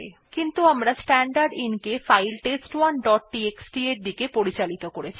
কিন্তু আমরা স্ট্যান্ডারদিন কে ফাইল test1ডট টিএক্সটি এর দিকে পরিচালিত করেছি